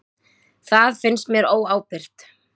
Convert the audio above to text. Það finnst mér ekki óábyrgt.